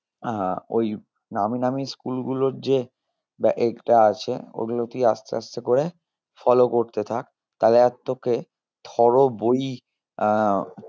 আহ ওই নামি নামি school গুলোর যে আছে ওগুলো তুই আসতে আসতে করে follow করতে থাক তালে আর তোকে থ্রো বই আহ